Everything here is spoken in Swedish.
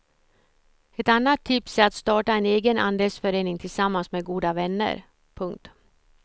Ett annat tips är att starta en egen andelsförening tillsammans med goda vänner. punkt